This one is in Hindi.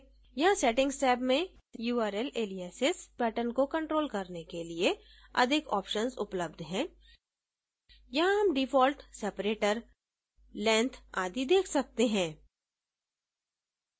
यहाँ settings टैब में url alias pattern को control करने के लिए अधिक options उपलब्ध हैं यहाँ हम डिफॉल्ट separator length आदि देख सकते हैं